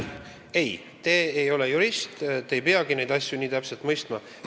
Ei, te ei ole jurist, te ei peagi neid asju nii täpselt mõistma.